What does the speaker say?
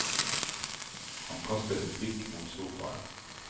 Han kastet et blikk mot sofaen.